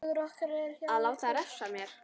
Að láta refsa mér?